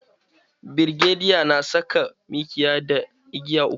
Birgediya Janar na saka mikiya da igiya uku.